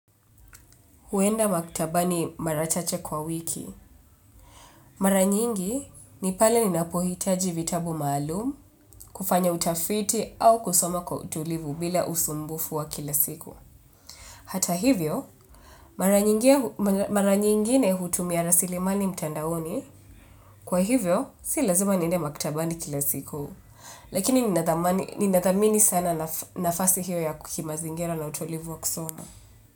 Kwenda maktaba ni mara chache kwa wiki. Mara nyingi ni pale ninapohitaji vitabu maalumu, kufanya utafiti au kusoma kwa utulivu bila usumbufu wa kila siku. Hata hivyo, mara nyingine hutumia rasilimani mtandaoni, kwa hivyo, si lazima ninde maktaba kila siku. Lakini ninathamini sana nafasi hiyo ya kimazingira na utulivu wa kusoma.